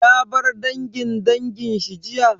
Ya bar dangin dangin shi jiya?